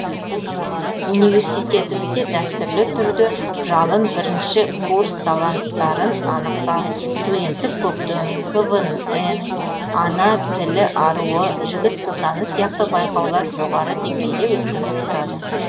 университетімізде дәстүрлі түрде жалын бірінші курс таланттарын анықтау студенттік көктем квн ана тілі аруы жігіт сұлтаны сияқты байқаулар жоғары деңгейде өткізіліп тұрады